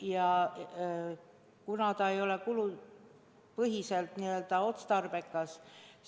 Ja kuna see ei ole kulupõhiselt otstarbekas,